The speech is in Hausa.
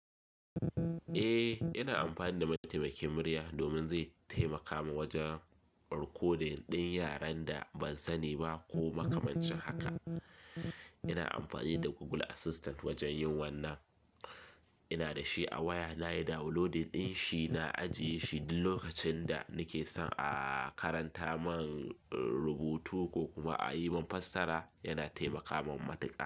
Eh, ina amfani da mataimakin murya domin zai taimaka mun wajen rikodin ɗin yaren da ban sani ba ko makamancin haka. Ina amfani da Google Assistant wajen yin wannan. Ina da shi a waya, nayi downloadin ɗin shi na ajiye shi, duk lokacin da nake son a karanta mun rubutu ko kuma a yi mun fassara, yana taimaka mun matuƙa.